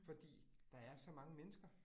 Fordi der er så mange mennesker